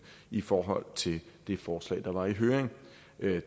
i forhold til det forslag der var i høring